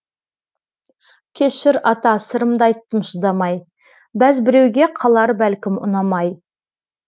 кешір ата сырымды айттым шыдамай бәз біреуге қалар бәлкім ұнамай